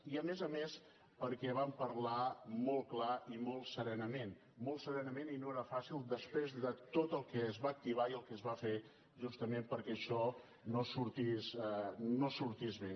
i a més a més perquè van parlar molt clar i molt serenament molt serenament i no era fàcil després de tot el que es va activar i el que es va fer justament perquè això no sortís bé